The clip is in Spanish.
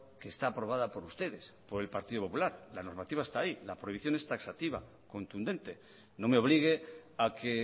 que está aprobada por ustedes por el partido popular la normativa está ahí la prohibición es taxativa contundente no me obligue a que